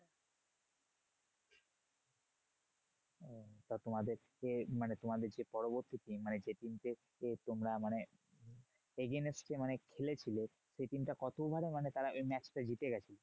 তা তোমাদের যে মানে তোমাদের যে পরবর্তী team মানে যে team কে তোমরা মানে against মানে খেলেছিল। সেই team টা কত over এ মানে তারা ওই match টা জিতে গেছে?